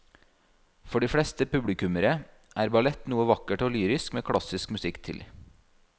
For de fleste publikummere er ballett noe vakkert og lyrisk med klassisk musikk til.